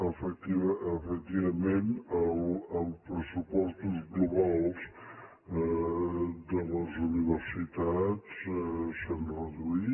efectivament els pressupostos globals de les universitats s’han reduït